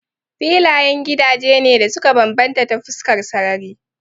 Filayen gidaje ne da suka bambanta ta fuskar sarari.